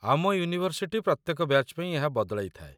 ଆମ ୟୁନିଭର୍ସିଟି ପ୍ରତ୍ୟେକ ବ୍ୟାଚ୍ ପାଇଁ ଏହା ବଦଳାଇଥାଏ